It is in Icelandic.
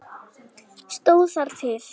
Stóð það til?